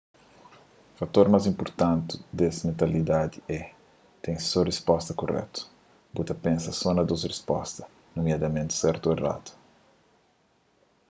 fator más inpurtanti des mentalidadi é ten só un risposta kuretu bu ta pensa só na dôs risposta nomiadamenti sertu ô eradu